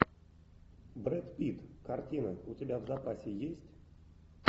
брэд питт картина у тебя в запасе есть